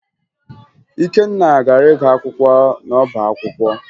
Ikenna gara ịgụ akwụkwọ n'ọbaakwụkwọ